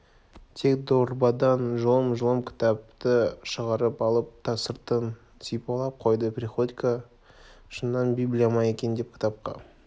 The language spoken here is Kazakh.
тек дорбадан жұлым-жұлым кітапты шығарып алып сыртын сипалап қойды приходько шыннан библия ма екен деп кітапқа